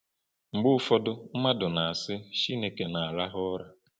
Mgbe ụfọdụ, mmadụ na-asị, Chineke na-arahụ ụra.